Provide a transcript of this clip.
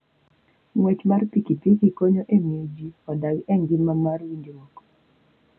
Ng'wech mar pikipiki konyo e miyo ji odag e ngima mar winjruok.